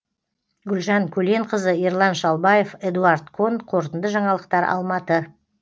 гүлжан көленқызы ерлан шалбаев эдуард кон қорытынды жаңалықтар алматы